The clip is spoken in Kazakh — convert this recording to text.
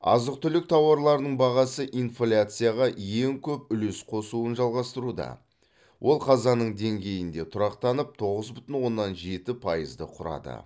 азық түлік тауарларының бағасы инфляцияға ең көп үлес қосуын жалғастыруда ол қазанның деңгейінде тұрақтанып тоғыз бүтін оннан жеті пайызды құрады